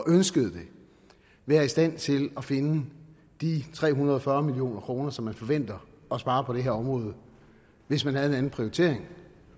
ønskede det være i stand til at finde de tre hundrede og fyrre million kr som man forventer at spare på det her område hvis man havde en anden prioritering